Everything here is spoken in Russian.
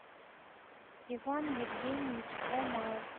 иван евгеньевич ломаев